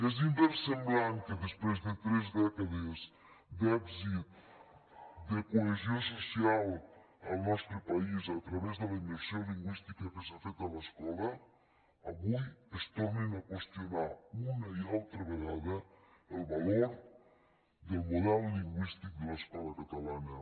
és inversemblant que després de tres dècades d’èxit de cohesió social al nostre país a través de la immersió lingüística que s’ha fet a l’escola avui es torni a qüestionar una i altra vegada el valor del model lingüístic de l’escola catalana